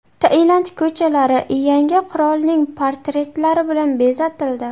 Tailand ko‘chalari yangi qirolning portretlari bilan bezatildi.